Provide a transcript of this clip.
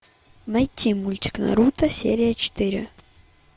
найти мультик наруто серия четыре